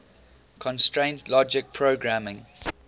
constraint logic programming